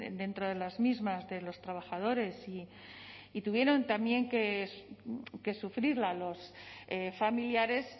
dentro de las mismas de los trabajadores y tuvieron también que sufrirla los familiares